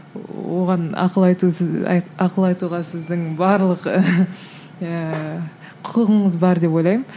оған ақыл айту сіз і ақыл айтуға сіздің барлық ііі құқығыңыз бар деп ойлаймын